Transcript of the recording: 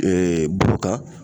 bolo kan